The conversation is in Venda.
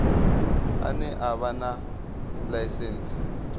ane a vha na ḽaisentsi